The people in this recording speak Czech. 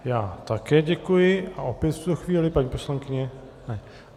Já také děkuji a opět v tuto chvíli paní poslankyně - ne.